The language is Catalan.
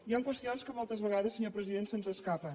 hi han qüestions que moltes vegades senyor president se’ns escapen